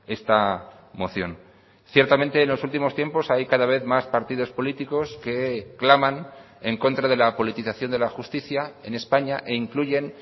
esta moción ciertamente en los últimos tiempos hay cada vez más partidos políticos que claman en contra de la politización de la justicia en españa e incluyen